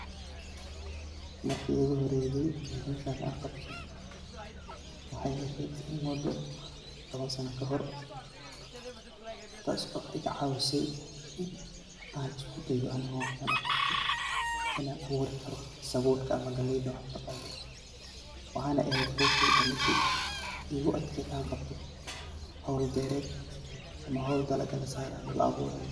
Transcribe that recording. Marki igu horeydi ee howsha an qabto waxay ehed mudo toban sana kahor, taaso iga caawisey inan isku de'o inan abuurikaro sabulka ama galleyda waxayna eheyd howsheyda midi igu adked an qabto howl beered ama howl dhalaga lasaarayo ama la abuurayo